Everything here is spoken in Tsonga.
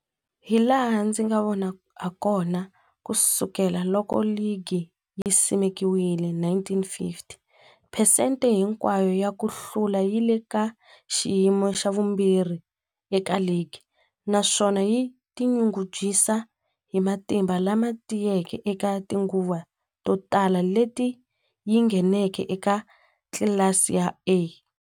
Hilaha ndzi nga vona hakona, ku sukela loko ligi yi simekiwile, 1950, phesente hinkwayo ya ku hlula yi le ka xiyimo xa vumbirhi eka ligi, naswona yi tinyungubyisa hi matimba lama tiyeke eka tinguva to tala leti yi ngheneke eka tlilasi ya A.